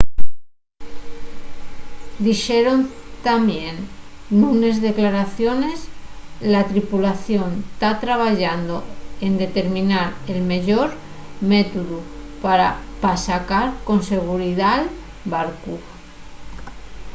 dixeron tamién nunes declaraciones la tripulación ta trabayando en determinar el meyor métodu pa sacar con seguridá’l barcu